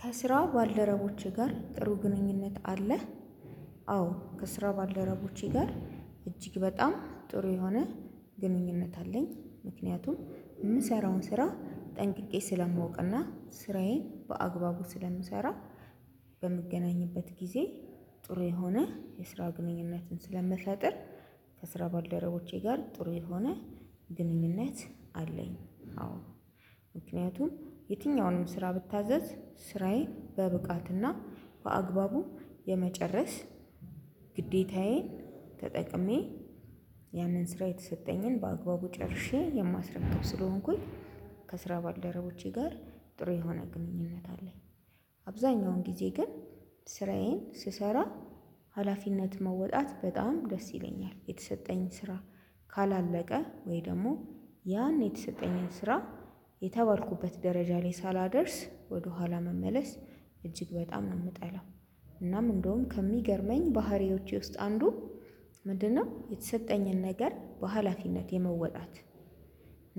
ከስራ ባልደረቦቼ ጋር ጥሩ ግንኙነት አለህ? አዎ ከስራ ባልደረቦቼ ጋር እጅግ በጣም ጥሩ የሆነ ግንኙነት አለኝ። ምክንያቱም የምሰራውን ስራ ጠንቅቄ ስለማውቅና ስራዬን በአግባቡ ስለምሰራ በምገናኝበት ጊዜ ጥሩ የሆነ የስራ ግንኙነትን ስለምፈጥር። ከስራ ባልደረቦቼ ጋር ጥሩ የሆነ አለኝ። አዎ ምክንያቱም የትኛውንም ስራ ብታዘዝ ስራዬን በብቃት እና በአግባቡ የመጨረስ ግዴታዬን ተጠቅሜ ያንን ስራ የተሰጠኝን በአግባቡ ጨርሼ የማስረከብ ስለሆንኩኝ ከስራ ባልደረቦቼ ጋር ጥሩ የሆነ ግንኙነት አለኝ። አብዛኛውን ጊዜ ግን ስራዬን ስሰራ ሀላፊነት መወጣት በጣም ደስ ይለኛል የተሰጠኝ ስራ ካላለቀ ወይ ደግሞ ያን የተሰጠኝን ስራ የተባልኩበት ደረጃ ላይ ሳላደርስ ወደ ኋላ መመለስ እጅግ በጣም ነው የምጠላው። እናም እንደውም ከሚገርመኝ ባህሪዎቼ ውስጥ አንዱ ምንድነው? የተሰጠኝን ነገር በሃላፊነት የመወጣት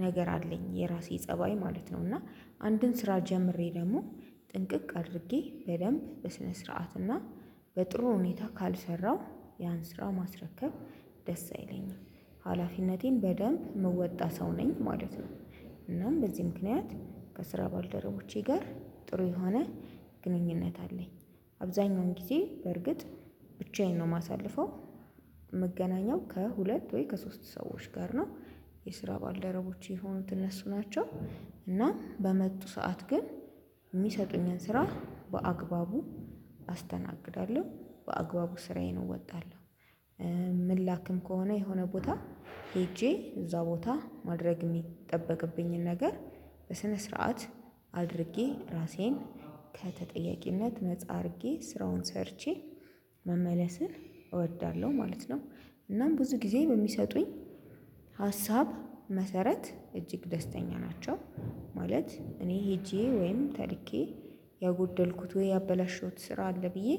ነገር አለኝ የራሴ ፀባይ ማለት ነው። እና አንድን ስራ ጀምሬ ደግሞ ጥንቅቅ አድርጌ በደንብ በስነ ስርዓት እና በጥሩ ሁኔታ ካልሰራው ያን ስራ ማስረከብ ደስ አይለኝም። ሀላፊነቴን በደንብ ምወጣ ሰው ነኝ ማለት ነው። እናም በዚህ ምክንያት ከስራ ባልደረቦቼ ጋር ጥሩ የሆነ ግንኙነት አለኝ። አብዛኛውን ጊዜ በርግጥ ብቻዬን ነው የማሳልፈው። ምገናኛው ከሁለት ወይ ከሶስት ሰዎች ጋር ነው የስራ ባልደረቦቼ የሆኑት እነሱ ናቸው። እና በመጡ ሰዓት ግን የሚሰጡኝን ስራ በአግባቡ አስተናግዳለሁ በአግባቡ ስራዬን እወጣለሁ። ምላክም ከሆነ የሆነ ቦታ ሄጄ እዛ ቦታ ማድረግ የሚጠበቅብኝን ነገር በስነ ስርዓት አድርጌ ራሴን ከተጠያቂነት ነፃ አድርጌ ስራውን ሰርቼ መመለስን እወዳለሁ ማለት ነው። እናም ብዙ ጊዜ በሚሰጡኝ ሀሳብ መሰረት እጅግ ደስተኛ ናቸው ማለት እኔ ሄጄ ወይም ተልኬ ያጎደልኩት ወይ ያበላሸሁት ስራ አለ ብዬ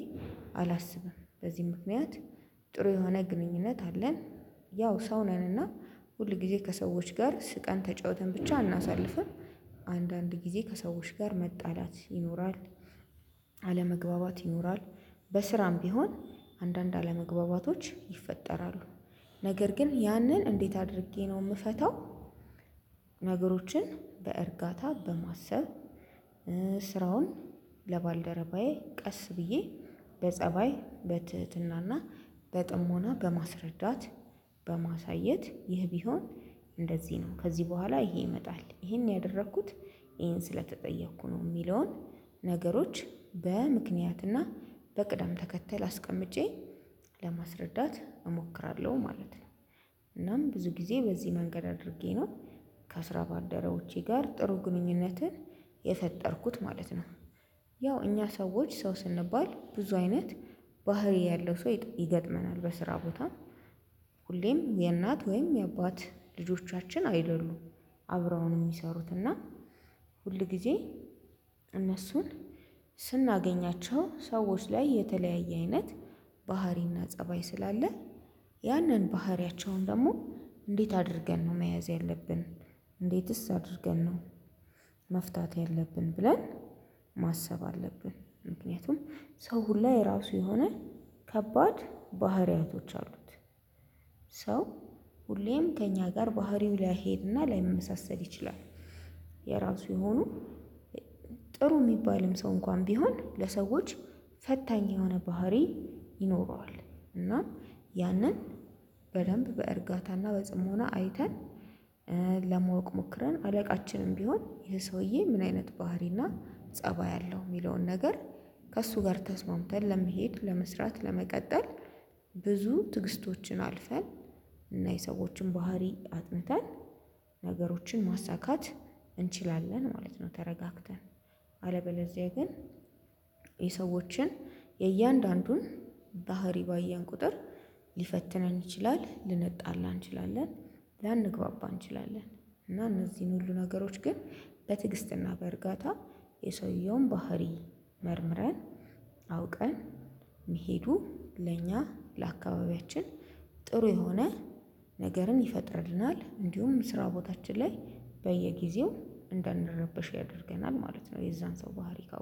አላስብም። በዚህ ምክንያት ጥሩ የሆነ ግንኙነት አለን። ያው ሰው ነንና ሁልጊዜ ከሰዎች ጋር ስቀን ተጫውተን ብቻ አናሳልፍም። አንዳንድ ጊዜ ከሰዎች ጋር መጣላት ይኖራል። አለመግባባት ይኖራል። በስራም ቢሆን አንዳንድ አለመግባባቶች ይፈጠራሉ። ነገር ግን ያንን እንዴት አድርጌ ነው የምፈታው? ነገሮችን በእርጋታ በማሰብ ስራውን ለባልደረባዬ ቀስ ብዬ በጸባይ በትህትናና በጥሞና በማስረዳት በማሳየት ይህ ቢሆን እንደዚህ ነው ከዚህ በኋላ ይሄ ይመጣል ይሄን ያደረኩት ይሄን ስለተጠየኩ ነው የሚለውን ነገሮች በምክንያትና በቅደም ተከተል አስቀምጬ ለማስረዳት እሞክራለሁ ማለት ነው። እናም ብዙ ጊዜ በዚህ መንገድ አድርጌ ነው ከስራ ባደረቦቼ ጋር ጥሩ ግንኙነትን የፈጠርኩት ማለት ነው። ያው እኛ ሰዎች ሰው ስንባል ብዙ አይነት ባህሪ ያለው ሰው ይገጥመናል በስራ ቦታ። ሁሌም የእናት ወይም የአባት ልጆቻችን አይደሉም። አብረውን የሚሰሩትና ሁልጊዜ እነሱን ስናገኛቸው ሰዎች ላይ የተለያየ አይነት ባህሪና ፀባይ ስላለ። ያንን ባህሪያቸውን ደግሞ እንዴት አድርገን ነው መያዝ ያለብን። እንዴትስ አድርገን ነው? መፍታት ያለብን ብለን ማሰብ አለብን። ምክንያቱም ሰው ሁላ የራሱ የሆነ ከባድ ባህሪያቶች አሉት። ሰው ሁሌም ከእኛ ጋር ባህሪው ላይሄድና ላይመሳሰል ይችላል። የራሱ የሆኑ ጥሩ የሚባልም ሰው እንኳን ቢሆን ለሰዎች ፈታኝ የሆነ ባህሪ ይኖረዋል። እና ያንን በደንብ በእርጋታና በጽሞና አይተን ለማወቅ ሞክረን አለቃችንም ቢሆን ይሄ ሰውዬ ምን አይነት ባህሪና ፀባይ አለው። የሚለውን ነገር ከእሱ ጋር ተስማምተን ለመሄድ ለመስራት ለመቀጠል ብዙ ትግስቶችን አልፈን እና የሰዎችን ባህሪ አጥንተን ነገሮችን ማሳካት እንችላለን ማለት ነው። ተረጋግተን አለበለዚያ ግን የሰዎችን የእያንዳንዱን ባህሪ ባየን ቁጥር ሊፈትነን ይችላል ልንጠላ እንችላለን። ላንግባባ እንችላለን። እና እነዚህ ሁሉ ነገሮች ግን በትግስትና በእርጋታ የሰውየውን ባህሪ መርምረን አውቀን መሄዱ ለእኛ ለአካባቢያችን ጥሩ የሆነ ነገርን ይፈጥርልናል። እንዲሁም ስራ ቦታችን ላይ በየጊዜው እንዳንረበሽ ያደርገናል ማለት ነው። የዛን ሰው ባህሪ ካወቅን